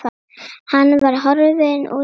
Hann var horfinn úr augsýn.